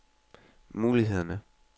mulighederne